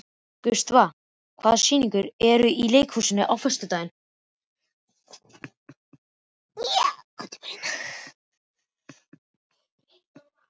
Gustav, hvaða sýningar eru í leikhúsinu á föstudaginn?